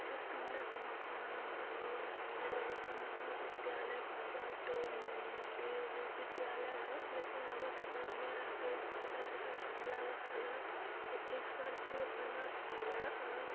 य पिला सा मकान ह मकानवा बड़ा सुंदर लगत ह महा विद्यालय बाबा डोम नदेव विद्यालय है लेकिन लगत घर नियर आगे छोटा-छोटा गमला रखल ह। एक ठे स्कार्पिओ खड़ा ह। पिला आ --